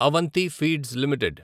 Avanthi feeds limited